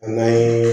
An na